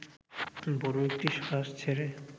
বড় একটি শ্বাস ছেড়ে